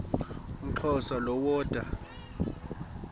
umxhosa lo woda